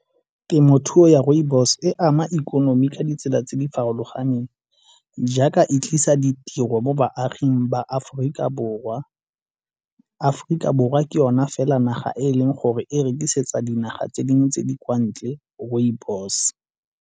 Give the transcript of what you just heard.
Temothuo ya rooibos e ama ikonomi ka ditsela tse di farologaneng jaaka e tlisa ditiro mo baaging ba Aforika Borwa. Aforika Borwa ke yona fela naga e e leng gore e rekisetsa dinaga tse dingwe tse di kwa ntle rooibos.